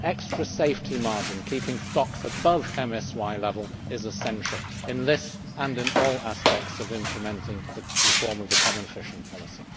An extra safety margin keeping stocks above MSY level is essential, in this and in all aspects of implementing the reform of the common fisheries policy.